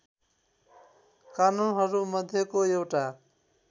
कानूनहरू मध्येको एउटा